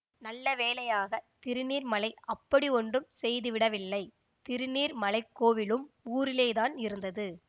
நல்ல வேளையாக திருநீர்மலை அப்படியொன்றும் செய்துவிடவில்லை திருநீர்மலைக்கோவிலும் ஊரிலேதான் இருந்தது